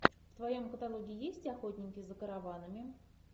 в твоем каталоге есть охотники за караванами